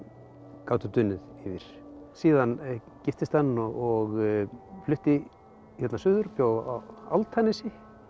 gátu dunið yfir síðan giftist hann og flutti hérna suður bjó á Álftanesi